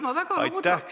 Aitäh!